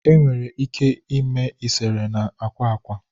enwere ike ime eserese na akwa akwa